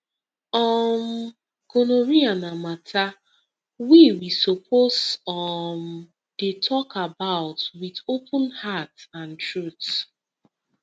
um gonorrhea na matter we we suppose um dey talk about with open heart and truth